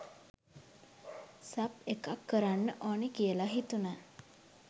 Sub එකක් කරන්න ඕන කියල හිතුණ.